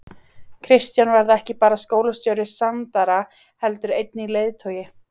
Kristján varð ekki bara skólastjóri Sandara heldur einnig leiðtogi.